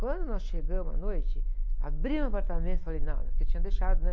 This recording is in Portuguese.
Quando nós chegamos à noite, abrimos o apartamento e falei, não, é porque tinha deixado, né?